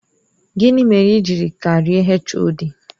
Gini mere i jiri karịa HOD?